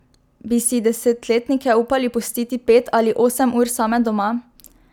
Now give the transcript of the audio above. Bi si desetletnike upali pustiti pet ali osem ur same doma?